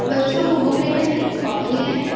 बच्चों को बुक लेना है कॉपी लेना है।